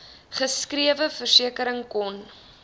geskrewe versekering kon